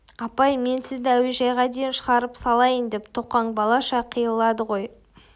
апай мен сізді әуежайға дейін шығарып салайын деп тоқаң балаша қиылады ғой